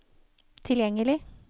tilgjengelig